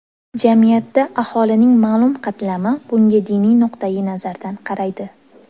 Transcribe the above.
Jamiyatda aholining ma’lum qatlami bunga diniy nuqtayi nazardan qaraydi.